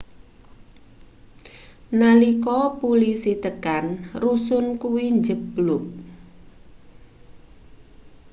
nalika pulisi tekan rusun kuwi njebluk